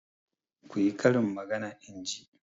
Ku yi karin magana in ji!